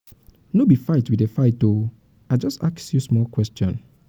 no be fight we dey fight oo i just ask you small question.